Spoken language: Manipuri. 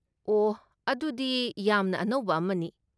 ꯑꯣꯍ! ꯑꯗꯨꯗꯤ ꯌꯥꯝꯅ ꯑꯅꯧꯕ ꯑꯃꯅꯤ꯫